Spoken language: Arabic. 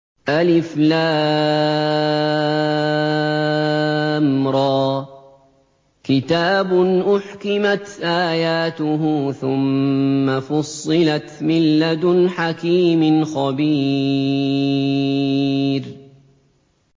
الر ۚ كِتَابٌ أُحْكِمَتْ آيَاتُهُ ثُمَّ فُصِّلَتْ مِن لَّدُنْ حَكِيمٍ خَبِيرٍ